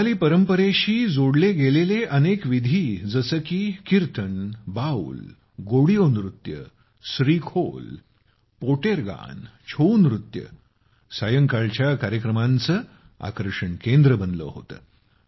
बंगाली परंपरांशी जोडल्या गेलेल्या अनेक विधी जसे की कीर्तन बाऊल गोडियो नृत्ये स्री खोल पोटेर गान छोऊ नृत्य सायंकाळच्या कार्यक्रमांचं आकर्षणांचं केंद्र बनले होते